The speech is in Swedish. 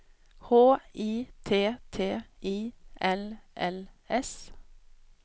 H I T T I L L S